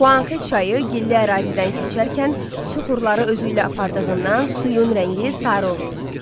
Xuanxe çayı gilli ərazidən keçərkən süxurları özü ilə apardığından suyun rəngi sarı olur.